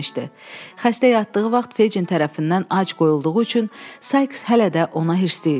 Xəstə yatdığı vaxt Fecin tərəfindən ac qoyulduğu üçün Sikes hələ də ona hirslidi.